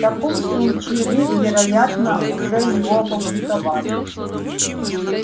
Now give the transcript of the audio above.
в таком случае вы вероятно уже его опубликовали